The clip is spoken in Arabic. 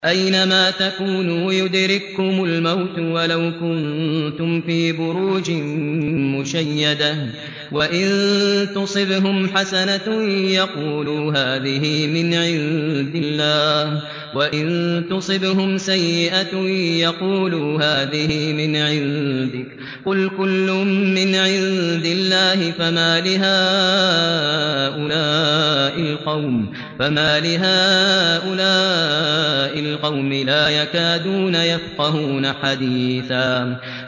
أَيْنَمَا تَكُونُوا يُدْرِككُّمُ الْمَوْتُ وَلَوْ كُنتُمْ فِي بُرُوجٍ مُّشَيَّدَةٍ ۗ وَإِن تُصِبْهُمْ حَسَنَةٌ يَقُولُوا هَٰذِهِ مِنْ عِندِ اللَّهِ ۖ وَإِن تُصِبْهُمْ سَيِّئَةٌ يَقُولُوا هَٰذِهِ مِنْ عِندِكَ ۚ قُلْ كُلٌّ مِّنْ عِندِ اللَّهِ ۖ فَمَالِ هَٰؤُلَاءِ الْقَوْمِ لَا يَكَادُونَ يَفْقَهُونَ حَدِيثًا